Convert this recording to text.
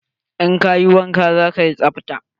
In kayi wanka, za kayi tsabta.